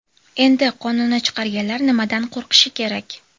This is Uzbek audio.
Endi qonunni chiqarganlar nimadan qo‘rqishi kerak?